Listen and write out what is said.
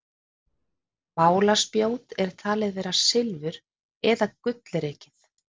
Málaspjót er talið vera silfur- eða gullrekið.